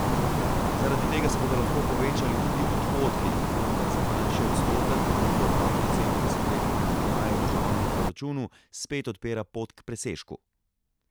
Zaradi tega se bodo lahko povečali tudi odhodki, vendar za manjši odstotek, to pa po celem desetletju primanjkljajev državnemu proračunu spet odpira pot k presežku.